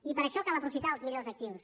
i per això cal aprofitar els millors actius